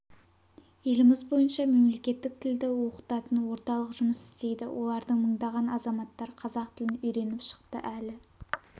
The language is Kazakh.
еліміз бойынша мемлекеттік тілді оқытатын орталық жұмыс істейді олардан мыңдаған азаматтар қазақ тілін үйреніп шықты әлі